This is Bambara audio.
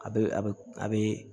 A bɛ a bɛ a bɛ